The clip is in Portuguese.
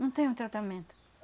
Não tem um tratamento.